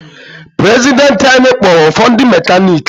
Prezidenti anyị kpọọrụ ụfọdụ ndị mekaniki.